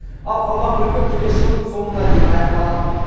ал қалған бөлігі келесі жылдың соңына дейін аяқталады